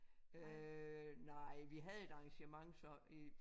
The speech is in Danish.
Øh nej vi havde et arrangement så i